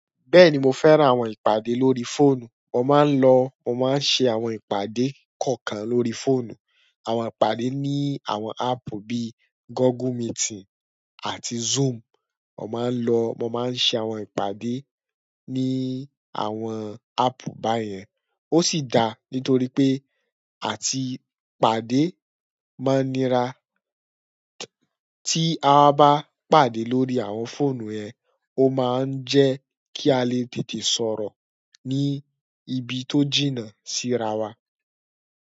Bẹ́ẹ̀ni mo fẹ́ran àwọn ìpàdé lórí fóònù, mo máa ń lọ, mo máa ń ṣe àwọn ìpàdé kọ̀ọ̀kan lórí fóònù. Àwọn ìpàdé ní àwọn áàpù bí i Google Meeting àti Zoom. Mo máa ń lọ, mo máa ń ṣe àwọn ìpàdé ní àwọn áàpù báyẹn. Ó sì da nítorí pé à ti ìpàdé máa ń nira, tí a bá pàdé lórí àwọn fóònù yẹn, ó máa ń jẹ́ kí a lè tètè sọ̀rọ̀ ní ibi tó jìnnà sí ara wa.